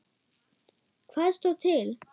Hvað stóð til?